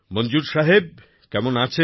মনজুর সাহেব কেমন আছেন